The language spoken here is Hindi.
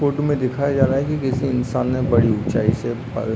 फोटू में दिखाई जा रहा हैं की किसी इंसान ने बड़ी ऊचाई से पर --